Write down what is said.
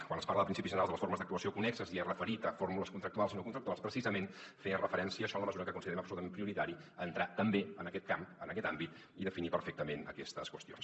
quan es parla de principis generals de les formes d’actuació connexes i és referit a fórmules contractuals i no contractuals precisament feia referència a això en la mesura que considerem absolutament prioritari entrar també en aquest camp en aquest àmbit i definir perfectament aquestes qüestions